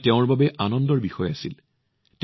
এয়া তেওঁৰ বাবে বৰ আনন্দৰ বিষয় আছিল